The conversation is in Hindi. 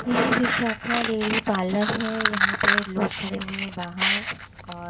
यह विशाखा डेयरी पार्लर है यहां पे लोग खड़े हुए बाहर और--